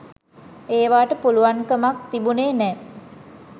ඒවාට පුළුවන්කමක් තිබුණෙ නෑ